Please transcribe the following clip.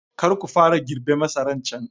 Kar ku fara girbe masaran can!